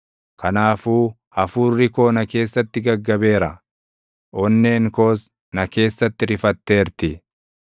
Kanaafuu hafuurri koo na keessatti gaggabeera; onneen koos na keessatti rifatteerti.